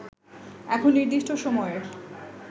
এখন নির্দিষ্ট সময়ের